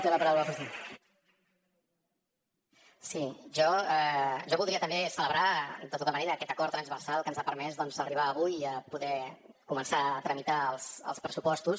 si jo voldria també celebrar de tota manera aquest acord transversal que ens ha permès arribar avui a poder començar a tramitar els pressupostos